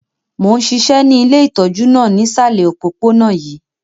Mo n ṣiṣẹ́ ni ile itọju náà nisalẹ̀ opopona yii.